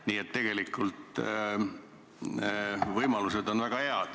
Nii et tegelikult on võimalused väga head.